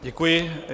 Děkuji.